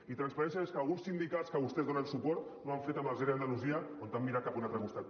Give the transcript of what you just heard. i transparència és el que alguns sindicats als quals vostès donen suport no han fet amb els ere d’andalusia on han mirat cap a un altre costat